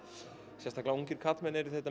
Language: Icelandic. sérstaklega ungir karlmenn eru þetta